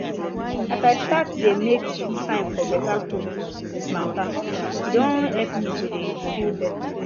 as i start dey make time for better food matter e don help me to dey feel better